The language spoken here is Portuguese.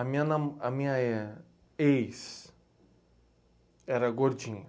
A minha não, a minha éh... ex era gordinha.